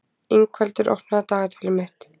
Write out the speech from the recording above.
Ingveldur, opnaðu dagatalið mitt.